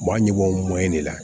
U b'a ɲigin o mɔ in de la